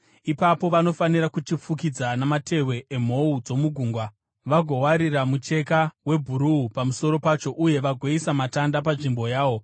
Ipapo vanofanira kuchifukidza namatehwe emhou dzomugungwa, vagowarira mucheka webhuruu pamusoro pacho uye vagoisa matanda panzvimbo yawo.